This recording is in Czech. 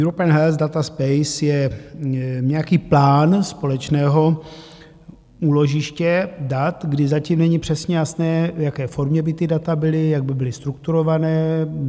European Health Data Space je nějaký plán společného úložiště dat, kdy zatím není přesně jasné, v jaké formě by ta data byla, jak by byla strukturována.